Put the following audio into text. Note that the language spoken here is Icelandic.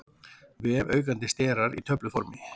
Vefaukandi sterar í töfluformi.